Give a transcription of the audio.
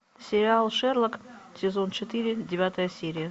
сериал шерлок сезон четыре девятая серия